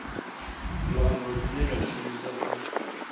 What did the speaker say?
luambo lune lwa shumiswa u